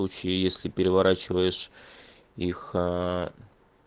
если переворачиваешь их